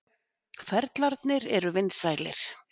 Ferlarnir eru vinsælir.